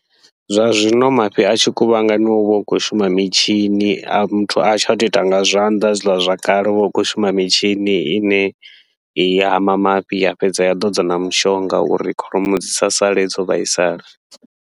Zwa zwino mafhi a tshi kuvhanganyiwa huvha hu khou shuma mitshini, a muthu hatsha tou ita nga zwanḓa hezwiḽa zwakale huvha hu khou shuma mitshini, ine i hama mafhi ya fhedza ya ḓodza na mushonga uri kholomo dzi sa sale dzo vhaisala.